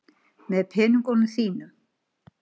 Með peningunum þínum.